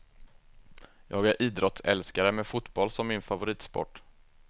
Jag är idrottsälskare med fotboll som min favoritsport.